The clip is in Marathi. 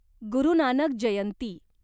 गुरू नानक जयंती